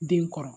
Den kɔrɔ